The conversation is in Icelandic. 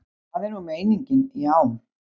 Það er nú meiningin, já.